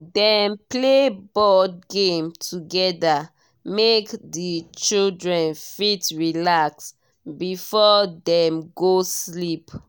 dem play board game together make the children fit relax before dem go sleep.